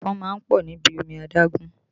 Ẹ̀fọn máa ń pọ̀ níbi omi adágún